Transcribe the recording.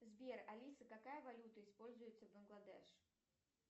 сбер алиса какая валюта используется в бангладеш